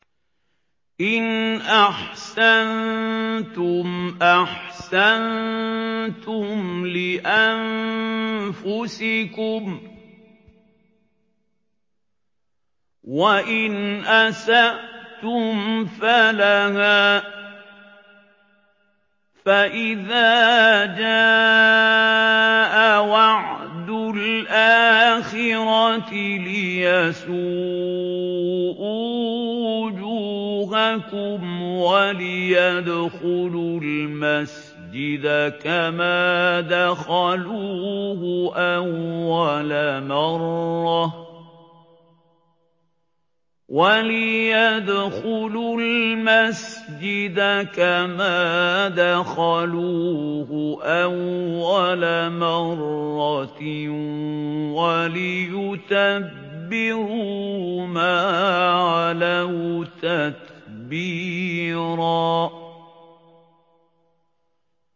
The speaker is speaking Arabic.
إِنْ أَحْسَنتُمْ أَحْسَنتُمْ لِأَنفُسِكُمْ ۖ وَإِنْ أَسَأْتُمْ فَلَهَا ۚ فَإِذَا جَاءَ وَعْدُ الْآخِرَةِ لِيَسُوءُوا وُجُوهَكُمْ وَلِيَدْخُلُوا الْمَسْجِدَ كَمَا دَخَلُوهُ أَوَّلَ مَرَّةٍ وَلِيُتَبِّرُوا مَا عَلَوْا تَتْبِيرًا